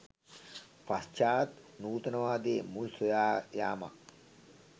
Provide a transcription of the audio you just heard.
පශ්චාත් නූතනවාදයේ මුල් සොයා යාමක්